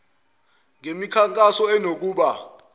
kusetshenzwe ngemikhankaso enokuba